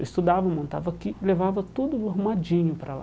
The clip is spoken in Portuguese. Eu estudava, montava aqui, levava tudo arrumadinho para lá.